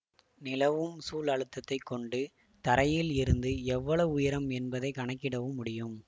நிலவும் சூழ் அழுத்தத்தை கொண்டு தரையில் இருந்து எவ்வளவு உயரம் என்பதை கணக்கிடவும் முடியும்